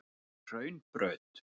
Hraunbraut